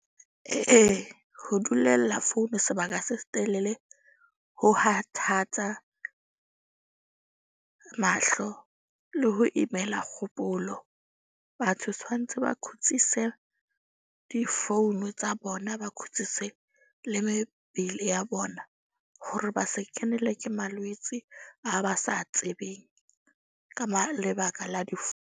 Ee, ho dulella phone sebaka se se telele ho kgathatsa mahlo le ho imela kgopolo. Batho tshwantse ba kgutsise di-phone tsa bona. Ba khutsitse le mebele ya bona hore ba se kenelwe ke malwetse a ba sa tsebeng ka lebaka la .